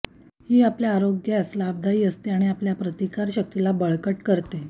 ही आपल्या आरोग्यास लाभदायी असते आणि आपल्या प्रतिकारक शक्तीला बळकट करते